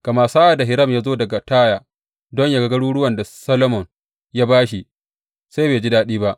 Amma sa’ad da Hiram ya zo daga Taya don yă ga garuruwan da Solomon ya ba shi, sai bai ji daɗi ba.